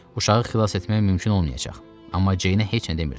Uşağı xilas etmək mümkün olmayacaq, amma Ceynə heç nə demirdi.